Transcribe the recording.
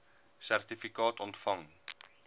sertifikaat ontvang